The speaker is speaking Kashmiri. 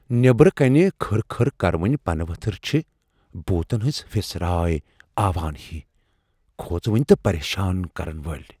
نیبرٕ كٕنہِ كھٕر كھر كروٕنہِ پنہٕ وتھر چھِ بھوُتن ہنزِ پھِسراریہِ آوان ہی ، كھوژونہِ تہٕ پریشان كرن وٲلۍ ۔